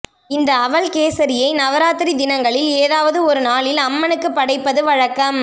இந்த அவல் கேசரியை நவராத்திரி தினங்களில் எதாவது ஒரு நாளில் அம்மனுக்கு படைப்பது வழக்கம்